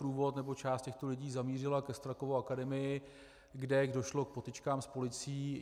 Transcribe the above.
Průvod nebo část těchto lidí zamířila ke Strakově akademii, kde došlo k potyčkám s policií.